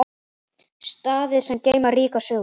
Staðir sem geyma ríka sögu.